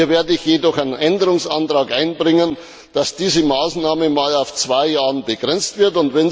Hier werde ich jedoch einen Änderungsantrag einbringen, dass diese Maßnahme auf zwei Jahre begrenzt wird.